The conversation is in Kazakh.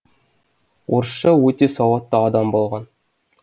орысша өте сауатты адам болған